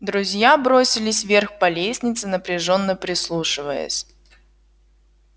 друзья бросились вверх по лестнице напряжённо прислушиваясь